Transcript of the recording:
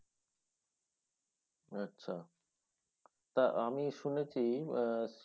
আচ্ছা তা আমি শুনেছি উম আহ